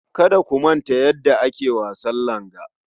Kada ku manta yadda ake wasan langa.